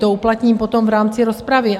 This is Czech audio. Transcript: To uplatním potom v rámci rozpravy.